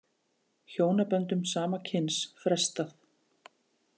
Hjónaböndum sama kyns frestað